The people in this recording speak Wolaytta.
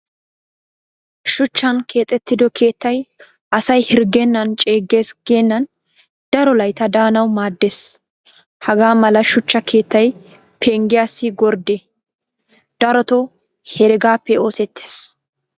Shuchchan keexxido keettay asay hirggennan ceeggees geennan daro layttaa daanawu maaddes. Hagaa mala shuchcha keettay penggiyaassi gorddee darotoo heregaappe oosettes